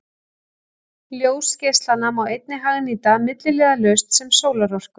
Ljósgeislana má einnig hagnýta milliliðalaust sem sólarorku.